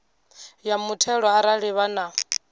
ya muthelo arali vha na